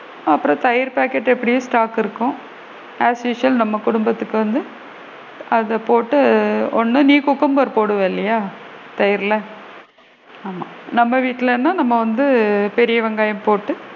அப்பறம் தயிர் பாக்கெட் எப்படியும் stock இருக்கும் as usual நம்ம குடும்பத்துக்கு வந்து அத போட்டு ஒன்னு நீ cucumber போடுவ இல்லையா தயிர்ல ஆமா நம்ம வீட்ல லா நம்ம வந்து பெரிய வெங்காயம் போட்டு,